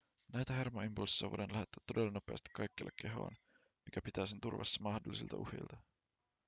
näitä hermoimpulsseja voidaan lähettää todella nopeasti kaikkialle kehoon mikä pitää sen turvassa mahdollisilta uhilta